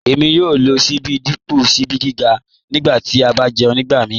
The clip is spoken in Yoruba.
Èmi yòò lọ síbí dípọ̀ síbí ọ̀nígà nígbà tí a bá jẹ̀ún nígbàmíì